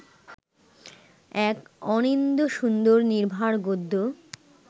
এক অনিন্দ্যসুন্দর নির্ভার গদ্য